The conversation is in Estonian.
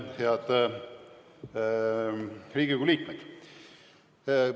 Head Riigikogu liikmed!